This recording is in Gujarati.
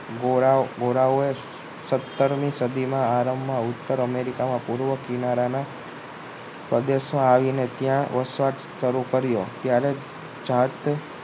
ગોરા ગોરાઓ એ સતારમી સદીના આરંભમાં ઉત્તર અમેરિકાના પૂર્વ કિનારાના પ્રદેશમાં આવીને ત્યાં વસવાટ શરૂ કર્યો ત્યારે જ જાત